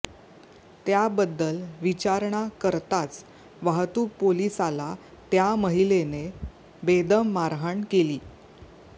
त्याबद्दल विचारणा करताच वाहतूक पोलिसाला त्या महिलेने बेदम मारहाण केली